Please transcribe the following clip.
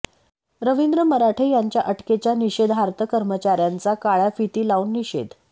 रवींद्र मराठे यांच्या अटकेच्या निषेधार्थ कर्मचाऱ्यांचा काळ्या फिती लावून निषेध